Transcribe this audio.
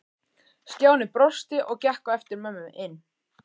Stjáni brosti og gekk á eftir mömmu inn.